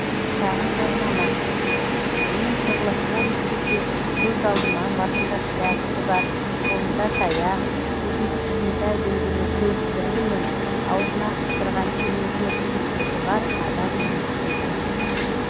шағын жарнама мен шерлок холмс десе көз алдыма басында шляпісі бар қолында таяқ көзінде кішкентай дөңгелек көзілдірігі мен аузына қыстырған темекі түтікшесі бар адам елестейтін